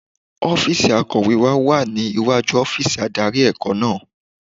Ọ́fíìsì akọ̀wé wa wà ní iwájú ọ́fíìsì adarí ẹ̀kọ́ náà.